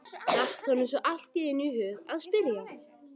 datt honum svo allt í einu í hug að spyrja.